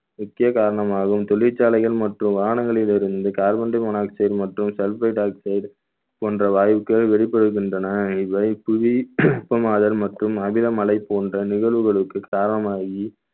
முக்கிய காரணம் ஆகும் தொழிற்சாலைகள் மற்றும் வாகனங்களிலிருந்து carbon monooxide மற்றும் sulphur dioxide போன்ற வாயுக்கள் வெளிப்படுகின்றன இவை புவி வெப்பமாதல் மற்றும் அமிலமலை போன்ற நிகழ்வுகளுக்கு காரணமாகி